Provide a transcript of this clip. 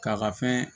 K'a ka fɛn